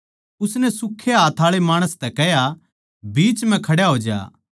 उसनै सूक्खे हाथ आळे माणस तै कह्या बीच म्ह खड्या होज्या